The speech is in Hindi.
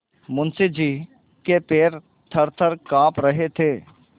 मुंशी जी के पैर थरथर कॉँप रहे थे